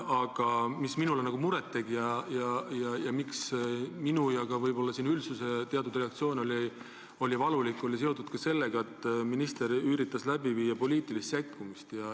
Aga minule teeb muret ja minu ning võib-olla ka üldsuse reaktsioon on valulik olnud seetõttu, et minister üritas läbi viia poliitilist sekkumist.